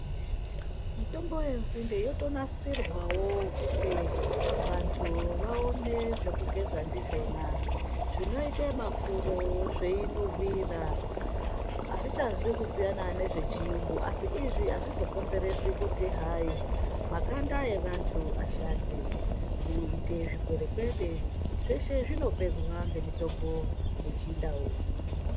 Mitombo yenzinde yotonasirwawo kuti vantu vaone zvekugeza ndizvona zvinoite mafuro zveinhuhwira. Azvichazi kusiyana nezvechiyungu asi izvi azvizokonzeresi kuti hayi makanda evanhu ashate, kuite zvikwerekwede, zveshe zvinopedzwa ngemitombo yechindau iyi.